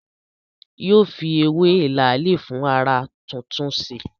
Yóò fi ewé làálì fún ará túntúnse